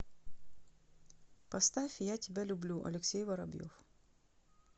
поставь я тебя люблю алексей воробьев